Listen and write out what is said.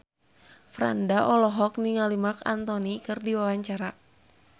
Franda olohok ningali Marc Anthony keur diwawancara